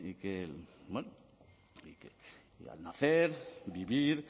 que al nacer y vivir